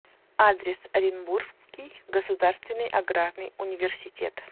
адрес оренбургский государственный аграрный университет